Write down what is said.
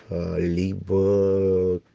либо